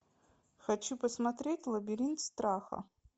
хочу посмотреть лабиринт страха